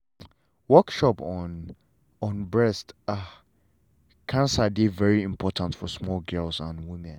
workshop on on breast ah cancer dey very important for small girls and women.